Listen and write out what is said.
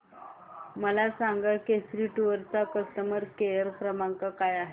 मला सांगा केसरी टूअर्स चा कस्टमर केअर क्रमांक काय आहे